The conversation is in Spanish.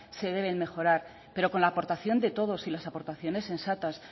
se deben mejorar pero con la aportación de todos y las aportaciones sensatas